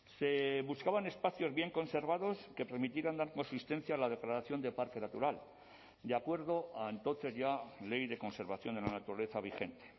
se buscaban espacios bien conservados que permitieran dar consistencia a la declaración de parque natural de acuerdo a entonces ya ley de conservación de la naturaleza vigente